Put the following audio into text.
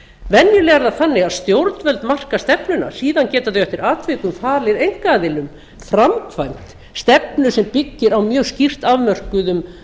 venjulega er það þannig að stjórnvöld marka stefnuna síðan geta þau eftir atvikum falið einkaaðilum framkvæmd stefnu sem byggir á mjög skýrt afmörkuðum